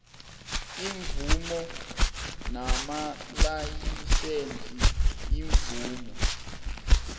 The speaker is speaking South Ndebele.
iimvumo namalayisense iimvumo